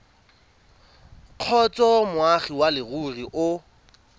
kgotsa moagi wa leruri o